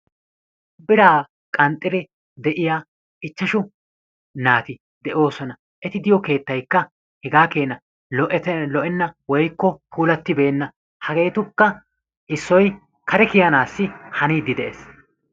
biraa qanxxidi de'iya ichashu naati de'oosoona. eti diyo kketaykka puulatenna, hageetuppe issoykka kare kiyananees.